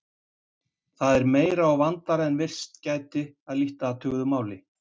Það er meira og vandaðra en virst gæti að lítt athuguðu máli.